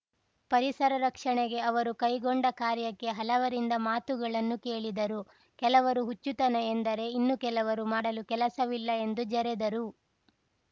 ಪರಿಸರ ರಕ್ಷಣೆಗೆ ಅವರು ಕೈಗೊಂಡ ಕಾರ್ಯಕ್ಕೆ ಹಲವರಿಂದ ಮಾತುಗಳನ್ನು ಕೇಳಿದರು ಕೆಲವರು ಹುಚ್ಚುತನ ಎಂದರೆ ಇನ್ನೂ ಕೆಲವರು ಮಾಡಲು ಕೆಲಸವಿಲ್ಲ ಎಂದೂ ಜರೆದರು